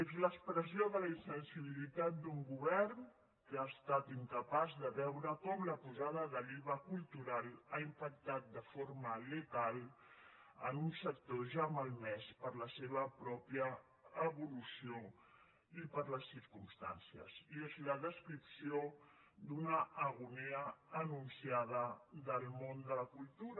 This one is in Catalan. és l’expressió de la insensibilitat d’un govern que ha estat incapaç de veure com la pujada de l’iva cultural ha impactat de forma letal en un sector ja malmès per la seva pròpia evolució i per les circumstàncies i és la descripció d’una agonia anunciada del món de la cultura